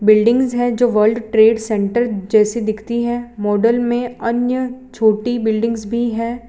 Buildings हैं जो world trade centre जैसी दिखती हैं मॉडल में अन्य छोटी बिल्डिंग्स भी हैं।